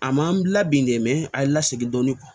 A ma n labi de a ye n lasegin dɔɔnin